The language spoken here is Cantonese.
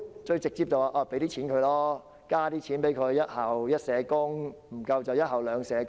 最直接的方法便是增加學校的撥款，做到"一校一社工"，甚至"一校兩社工"。